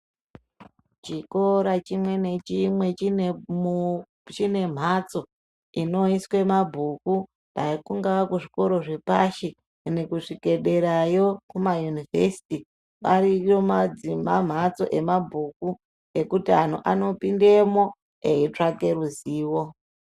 Chikora chimwe nechimwe chine mhatso inoiswe mabhuku, dai kungaa kuzvikoro zvepashi kuende kusvike derayo kumayunivhesiti, ariyo mamhatso emabhuku, ekuti anhu anopindemo eyitsvake ruzivo.